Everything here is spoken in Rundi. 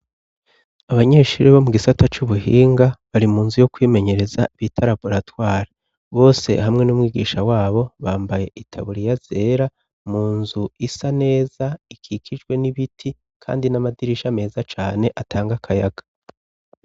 Abanyeshuri bo mugisata c'ubuhinga bari munzu yo kwimenyereza bita raboratware. Bose hamwe n'umwigisha wabo bambaye itaburiya zera munzu isa neza ikikijwe n'ibiti kandi n'amadirisha meza cane atanga akayaga.